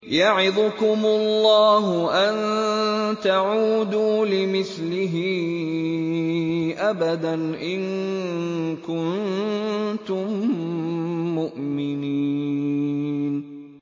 يَعِظُكُمُ اللَّهُ أَن تَعُودُوا لِمِثْلِهِ أَبَدًا إِن كُنتُم مُّؤْمِنِينَ